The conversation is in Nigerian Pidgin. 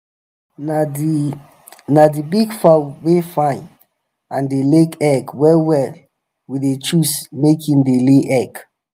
na the na the big fowl wey fine and dey lay egg well well we dey choose make en dey lay egg.